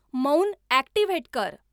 मौन ॲक्टिव्हेट कर